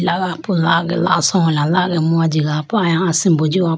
ataga po lage laso hola lage mo ajiga pe aya asimbo jiho po.